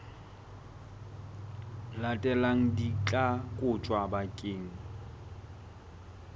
latelang di tla kotjwa bakeng